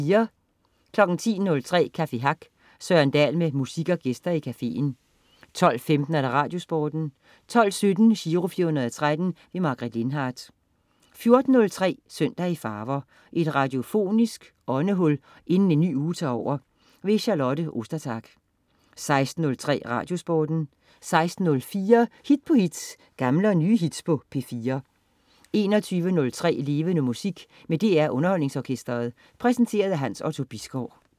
10.03 Café Hack. Søren Dahl med musik og gæster i caféen 12.15 Radiosporten 12.17 Giro 413. Margaret Lindhardt 14.03 Søndag i farver. Et radiofonisk åndehul inden en ny uge tager over. Charlotte Ostertag 16.03 Radiosporten 16.04 Hit på hit. Gamle og nye hits på P4 21.03 Levende Musik med DR UnderholdningsOrkestret. Præsenteret af Hans Otto Bisgaard